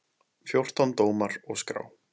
Fjórtán dómar og skrá.